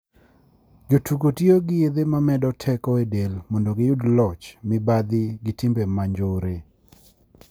jo tugo tiyo gi yedhe ma medo teko e del mondo gi yud locho, mibadhi gi timbe ma njore.